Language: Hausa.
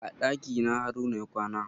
A ɗakina haruna ya kwana.